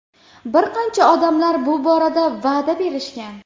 Bir qancha odamlar bu borada va’da berishgan.